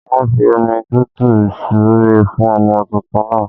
Wọn fi omi tútù súre fún ọmọ tuntun náà